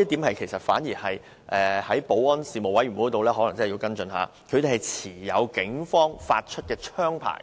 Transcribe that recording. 我覺得保安事務委員會可能要跟進一下，因為他們持有警方發出的槍牌，